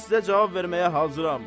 Mən sizə cavab verməyə hazıram.